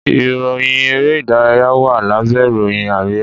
Ìròyìn èrè idaraya wá lábé ìròyìn àríyá